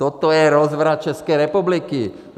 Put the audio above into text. Toto je rozvrat České republiky.